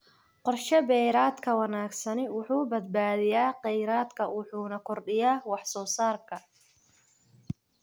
Qorshe beereedka wanaagsani wuxuu badbaadiyaa kheyraadka wuxuuna kordhiyaa wax-soo-saarka.